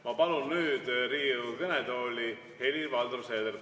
Ma palun nüüd Riigikogu kõnetooli Helir-Valdor Seederi.